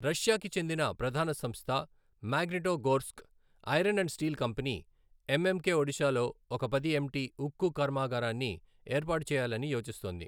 Russia కి చెందిన ప్రధాన సంస్థ Magnitogorsk Iron and Steel Company, MMK ఒడిశాలో ఒక పది ఎమ్టీ ఉక్కు కర్మాగారాన్ని ఏర్పాటు చేయాలని యోచిస్తోంది.